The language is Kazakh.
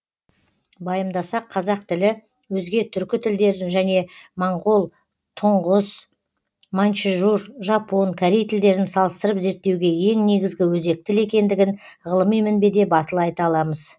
байымдасақ қазақ тілі өзге түркі тілдерін және моңғол тұңғыс маньчжур жапон корей тілдерін салыстырып зерттеуге ең негізгі өзек тіл екендігін ғылыми мінбеде батыл айта аламыз